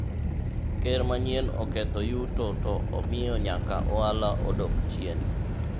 ker manyien oketho yuto to omiyo nyaka ohala odok chien